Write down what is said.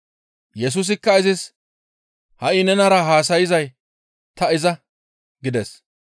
Yesusikka izis, «Ha7i nenara haasayzay ta iza» gides.